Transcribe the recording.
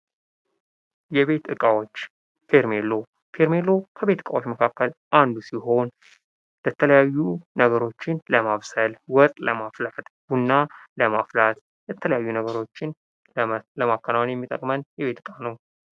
የቤት እቃዎች ፌርሜሎ ፌርሜሎ ከቤት እቃዎች መካከል አንዱ ሲሆን የተለያዩ ነገሮችን ለማብሰል ዉሃ ለማፍላት ቡና ለማፍላት የተለያዩ ነገሮችን ለማከናወን የሚጠቅመን የቤት እቃ ነው።